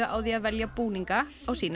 á því að velja búninga á sína